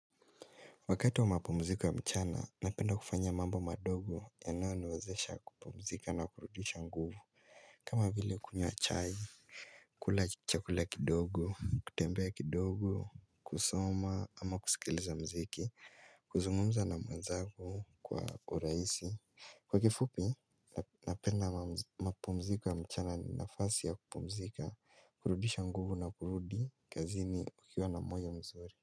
Wakati wa mapumziko ya mchana napenda kufanya mambo yanayoniwezesha kupumzika na kurudisha nguvu. Kama vile kunyua chai, kula chakula kidogo, kutembea kidogo, kusoma ama kusikiliza mziki, kuzungumza na mwenzagu kwa uraisi. Kwa kifupi, napenda mapumziko ya mchana ni nafasi ya kupumzika, kurudisha nguvu na kurudi kazini ukiwa na moyo mzuri.